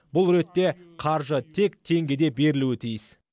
бұл ретте қаржы тек теңгеде берілуі тиіс